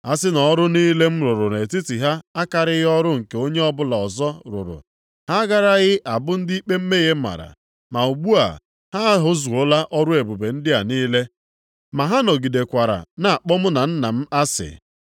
A sị na ọrụ niile m rụrụ nʼetiti ha akarịghị ọrụ nke onye ọbụla ọzọ rụrụ, ha agaraghị abụ ndị ikpe mmehie mara. Ma ugbu a ha ahụzuola ọrụ ebube ndị a niile, ma ha nọgidekwara na-akpọ mụ na Nna m asị.